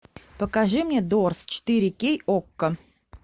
покажи мне дорс четыре кей окко